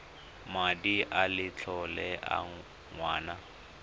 madi a letlole a ngwana